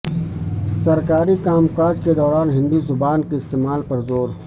سرکاری کام کاج کے دوران ہندی زبان کے استعمال پر زور